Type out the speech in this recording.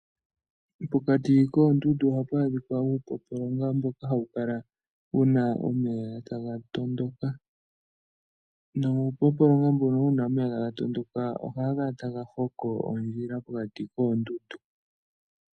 Pokati koondundu ohapu kala pu na uupompolonga mbono hawu kala wu na omeya taga tondoka. Nuupompolonga mbuno hawu kala wu na omeya taga tondoka ohaga kala taga kongo ondjila mokati koondundu.